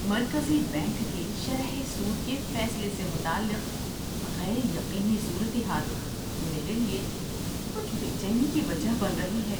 مرکزی بینک کے شرح سود کے فیصلے سے متعلق غیر یقینی صورتحال میرے لیے کچھ بے چینی کی وجہ بن رہی ہے۔